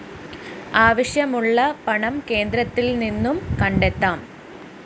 ആവശ്യമുള്ള പണം കേന്ദ്രത്തില്‍ നിന്നും കണ്ടെത്താം